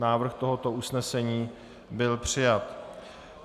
Návrh tohoto usnesení byl přijat.